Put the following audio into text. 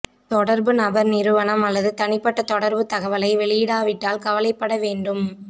தொடர்பு நபர் நிறுவனம் அல்லது தனிப்பட்ட தொடர்புத் தகவலை வெளியிடாவிட்டால் கவலைப்பட வேண்டும்